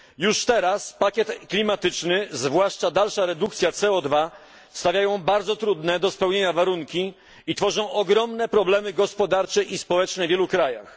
Już teraz pakiet klimatyczny, zwłaszcza dalsza redukcja CO 2 stawiają bardzo trudne do spełnienia warunki i tworzą ogromne problemy gospodarcze i społeczne w wielu krajach.